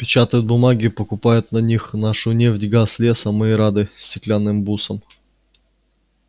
печатают бумажки покупают на них нашу нефть газ лес а мы и рады стеклянным бусам